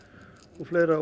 og fleira